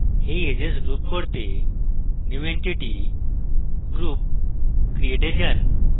এই edges group করতে new entity>> group>> create এ যান